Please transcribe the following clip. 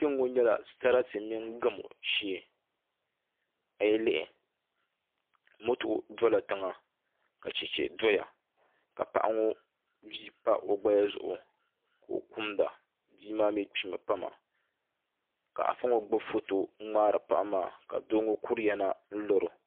Kpɛŋŋo nyɛla sarati mini gamo shee a yi lihi moto dola tiŋa ka chɛchɛ doya ka paɣa ŋo bia pa o gbaya zuɣu ka o kumda bia maa mii kpimi n pa maa ka afa ŋo gbubi foto ŋo n ŋmaari paɣa maa ka bia ŋo kuriya na n laro